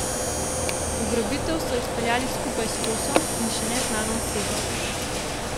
Ugrabitev so izpeljali skupaj s Kosom in še neznano osebo.